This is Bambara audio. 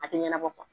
A tɛ ɲɛnabɔ